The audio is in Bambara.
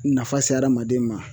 Nafa se aramaden ma.